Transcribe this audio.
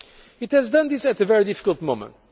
It has done this at a very difficult moment.